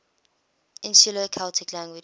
insular celtic languages